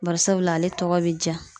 Bari sabula ale tɔgɔ be ja.